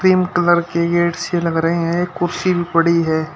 Cream colour के gate से लग रही हैं एक कुर्सी भी पड़ी है।